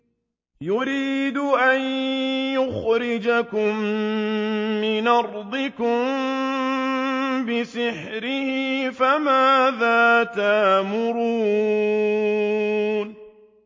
يُرِيدُ أَن يُخْرِجَكُم مِّنْ أَرْضِكُم بِسِحْرِهِ فَمَاذَا تَأْمُرُونَ